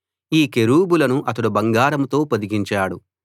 ఈ కెరూబులను అతడు బంగారంతో పొదిగించాడు